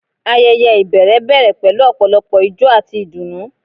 Ayẹyẹ ibẹrẹ bẹrẹ pẹlu ọpọlọpọ ijó ati idunnu